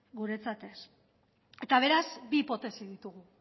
guretzat ez eta berez bi hipotesi ditugu